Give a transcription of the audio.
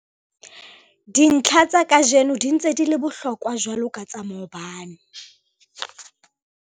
Dintlha tsa kajeno di ntse di le bohlokwa jwalo ka tsa maobane.